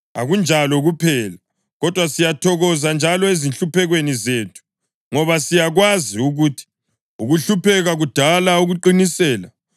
Akunjalo kuphela, kodwa siyathokoza njalo ezinhluphekweni zethu, ngoba siyakwazi ukuthi ukuhlupheka kudala ukuqinisela;